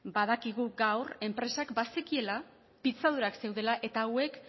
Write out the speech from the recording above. badakigu gaur enpresak bazekiela pitzadurak zeudela eta hauek